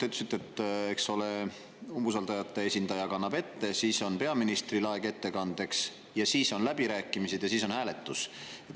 Te ütlesite, eks ole, et umbusaldajate esindaja ettekande, siis on peaministril aeg ettekandeks, siis on läbirääkimised ja siis on hääletus.